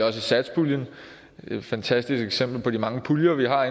også i satspuljen det er et fantastisk eksempel på de mange puljer vi har